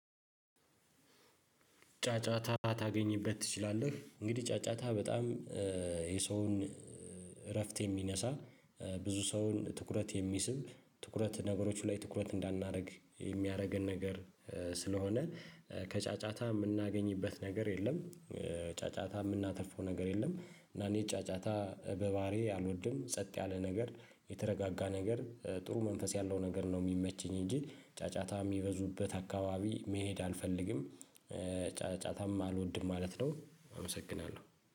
ጫጫታ ታገኝበት ትችላለህ እንግዲህ ጫጫታ በጣም የሰውን እረፍት የሚነሳ ብዙ ሰውን ትኩረት የሚስብ ትኩረት ነገሮች ላይ ትኩረት እንዳናረግ የሚያረገን ነገር ስለሆነ ከጫጫታ ምናገኝበት ነገር የለም። ጫጫታ ምናተርፈው ነገር የለም እና እኔ ጫጫታ በባዕሪዬ አልወድም ጸጥ ያለ ነገር የተረጋጋ ነገር ጥሩ መንፈስ ያለው ነገር ነው ሚመችኝ እንጂ ጫጫታ ሚበዙበት አካባቢ መሄድ አልፈልግም። ጫጫታም አልወድም ማለት ነው። አመሰግናለሁ